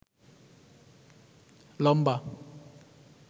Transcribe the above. লম্বা